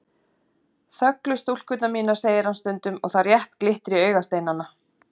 Þöglu stúlkurnar mínar, segir hann stundum og það rétt glittir í augasteinana.